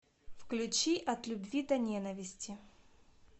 включи от любви до ненависти